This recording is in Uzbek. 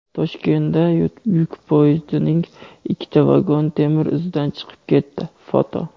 Toshkentda yuk poyezdining ikkita vagoni temir izdan chiqib ketdi (foto).